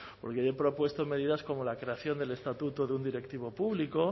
porque yo he propuesto medidas como la creación del estatuto de un directivo público